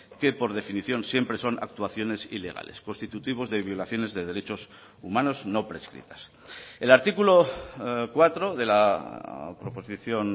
que por definición siempre son actuaciones ilegales constitutivos de violaciones de derechos humanos no prescritas el artículo cuatro de la proposición